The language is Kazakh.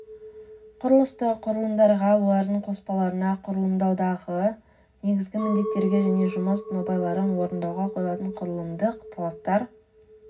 құрылыстық құрылымдарға олардың қоспаларына құрылымдаудағы негізгі міндеттерге және жұмыс нобайларын орындауға қойылатын құрылымдық талаптар